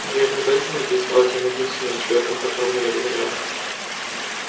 неверно поэтому ты и стал тем единственным человеком которому я доверяю